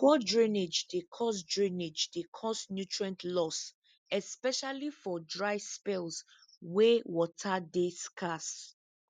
poor drainage dey cause drainage dey cause nutrient loss especially for dry spells wey water dey scarce